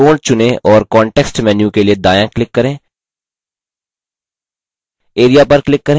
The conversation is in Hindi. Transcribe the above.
त्रिकोण चुनें और context menu के लिए दायाँclick करें area पर click करें